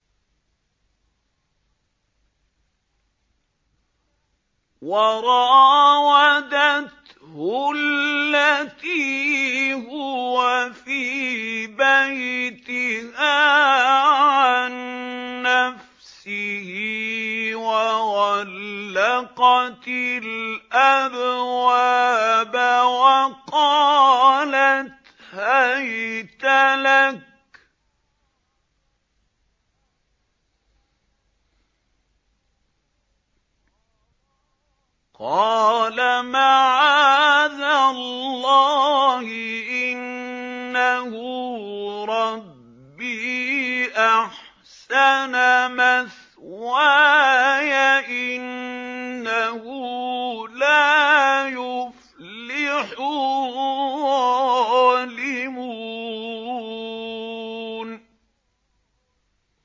وَرَاوَدَتْهُ الَّتِي هُوَ فِي بَيْتِهَا عَن نَّفْسِهِ وَغَلَّقَتِ الْأَبْوَابَ وَقَالَتْ هَيْتَ لَكَ ۚ قَالَ مَعَاذَ اللَّهِ ۖ إِنَّهُ رَبِّي أَحْسَنَ مَثْوَايَ ۖ إِنَّهُ لَا يُفْلِحُ الظَّالِمُونَ